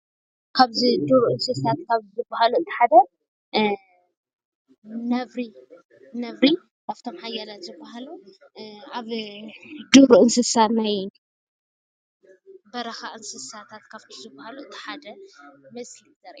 ኣብዚ እንሪኦ ዘለና እንስሳት ነብሪ ሓደ ካብቶም ሓያልት ዝበሃሉ ናይ እንስሳ በረካ ዝበሃል እቲ ሓደእዩ ፡፡